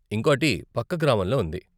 ఇంకోటి పక్క గ్రామంలో ఉంది.